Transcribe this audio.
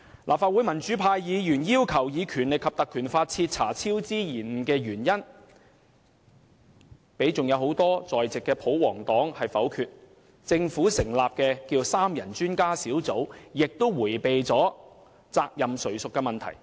立法會民主派議員要求引用《立法會條例》徹查超支及延誤的原因，但被多位在席的保皇黨議員否決，而由政府成立的三人專家小組，亦迴避責任誰屬的問題。